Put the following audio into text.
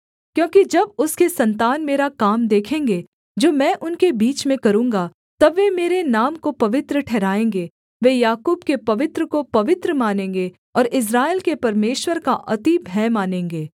क्योंकि जब उसके सन्तान मेरा काम देखेंगे जो मैं उनके बीच में करूँगा तब वे मेरे नाम को पवित्र ठहराएँगे वे याकूब के पवित्र को पवित्र मानेंगे और इस्राएल के परमेश्वर का अति भय मानेंगे